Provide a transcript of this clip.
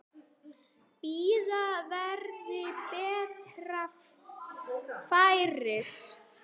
Bíða verði betra færis.